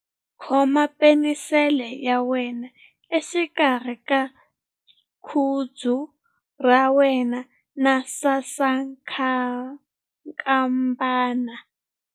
Khoma penisele ya wena exikarhi ka khudzu ra wena na sasankambana..